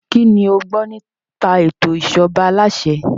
Kínní o gbọ́ nípa ètò ìṣèjọba aláṣẹ?